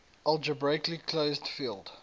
algebraically closed field